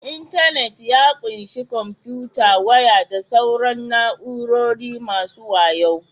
Intanit ya ƙunshi kwamfuta, waya da sauran na'urori masu wayo